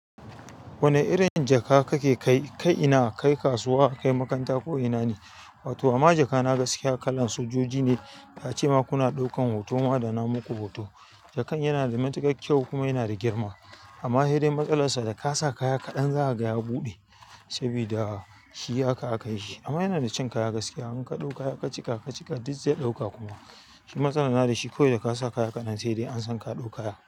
Wane irin jaka kake kai? Kai ina? Kai kasuwa, kai makaranta ko ina ne? Wato amma jaka na gaskiya kalan sojoji ne. Da a ce ma kuna ɗaukan hoto ma da namu ku hoto. Jakan yana da matuƙar kyau kuma yana da girma. Amma hedai matsalar sa da ka sa kaya kaɗan za ka ga ya buɗe. Saboda shi haka aka yi shi. Amma yana da cin kaya gaskiya. In ka ɗau kaya kacika-kacika duk zai ɗauka kuma. Shi matsala na da shi kawai da ka sa kaya kaɗan sai dai an san ka ɗau kaya.